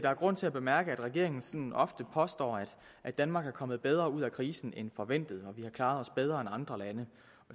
er grund til at bemærke at regeringen ofte påstår at danmark er kommet bedre ud af krisen end forventet og vi har klaret os bedre end andre lande